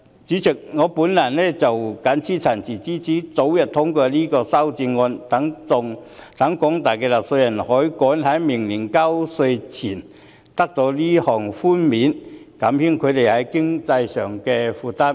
主席，我謹此陳辭，支持早日通過這項修正案，讓廣大納稅人可以趕在明年交稅前得到這項寬免，減輕他們在經濟上的負擔。